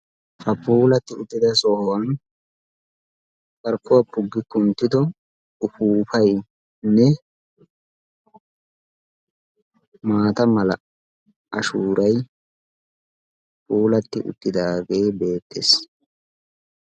Ha puulatidi uttida sohuwan carkuwa puggi kunttido upupaynne maataa mala ashshuuray puulati uttidaage beettees.